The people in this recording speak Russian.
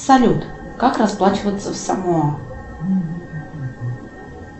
салют как расплачиваться в самоа